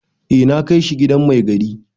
Eh na kai shi gidan mai gari.